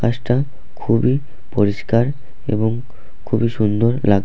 গাছটা খুবই পরিষ্কার এবং খুবই সুন্দর লাগ--